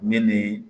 Me nin ye